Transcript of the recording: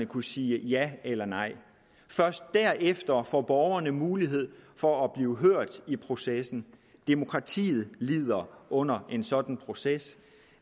kunne sige ja eller nej først derefter får borgerne mulighed for at blive hørt i processen demokratiet lider under en sådan proces